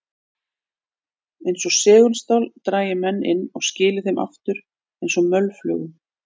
Eins og segulstál drægi menn inn og skili þeim svo aftur eins og mölflugum.